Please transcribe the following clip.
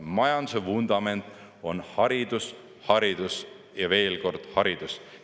Majanduse vundament on haridus, haridus ja veel kord haridus.